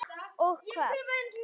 Og hvað?